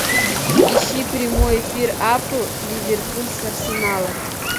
ищи прямой эфир апл ливерпуль с арсеналом